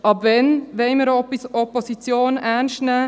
Ab wann wollen wir Opposition ernst nehmen?